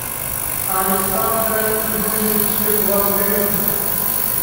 александра юрьевича глазырина